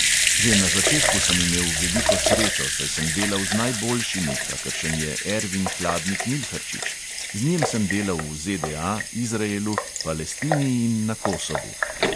Že na začetku sem imel veliko srečo, saj sem delal z najboljšimi, kakršen je ervin hladnik milharčič, z njim sem delal v ZDA, izraelu, palestini in na kosovu.